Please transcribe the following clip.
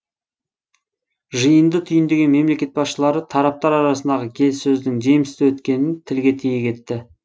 жиынды түйіндеген мемлекет басшылары тараптар арасындағы келіссөздің жемісті өткенін тілге тиек етті